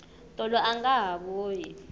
tolo anga ha vuyi